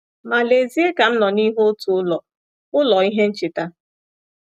Ma lezie ka m nọ n’ihu otu ụlọ, ụlọ, ihe ncheta.